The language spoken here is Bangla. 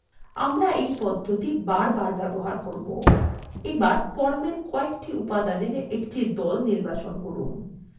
আমরা we পদ্ধতি বার বার ব্যবহার করব এবার formwe কয়েকটি উপাদানের দল নির্বাচন করুন